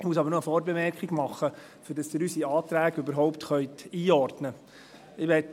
Ich muss aber noch eine Vorbemerkung machen, damit Sie unsere Anträge überhaupt einordnen können.